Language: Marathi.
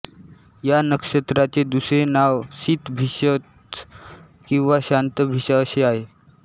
या नक्षत्राचे दुसरे नाव शतभिषज् किंवा शंतभिषा असे आहे